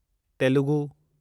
Telugu